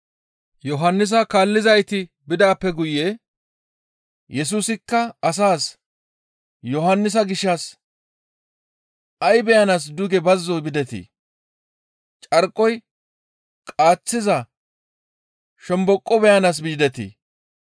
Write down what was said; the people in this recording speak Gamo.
Yohannisa kaallizayti bidaappe guye Yesusikka asaas Yohannisa gishshas, «Ay beyanaas duge bazzo bidetii? Carkoy qaaththiza shomboqo beyanaas yidetii?